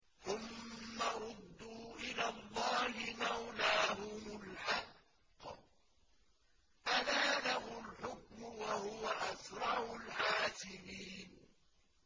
ثُمَّ رُدُّوا إِلَى اللَّهِ مَوْلَاهُمُ الْحَقِّ ۚ أَلَا لَهُ الْحُكْمُ وَهُوَ أَسْرَعُ الْحَاسِبِينَ